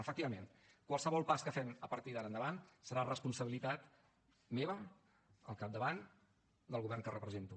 efectivament qualsevol pas que fem a partir d’ara endavant serà responsabilitat meva al capdavant del govern que represento